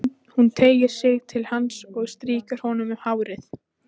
Hún teygir sig til hans og strýkur honum um hárið.